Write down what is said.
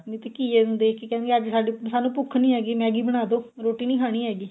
ਨਹੀਂ ਤੇ ਘੀਏ ਨੂੰ ਦੇਖ ਕੇ ਕਹਿੰਦੇ ਅੱਜ ਸਾਡੀ ਸਾਨੂੰ ਭੁੱਖ ਨੀ ਹੈਗੀ Maggie ਬਣਾ ਦੋ ਰੋਟੀ ਨੀ ਖਾਣੀ ਹੈਗੀ